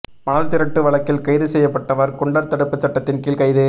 மணல் திருட்டு வழக்கில் கைது செய்யப்பட்டவா் குண்டா் தடுப்பு சட்டத்தின் கீழ் கைது